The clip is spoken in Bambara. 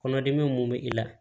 Kɔnɔdimi mun bɛ i la